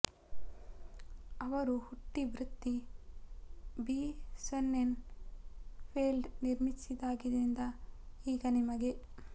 ಅವರು ಹುಟ್ಟಿ ವೃತ್ತಿ ಬಿ ಸೊನ್ನೆನ್ ಫೆಲ್ಡ್ ನಿರ್ಮಿಸಿದಾಗಿನಿಂದ ಈಗ ನಿಮಗೆ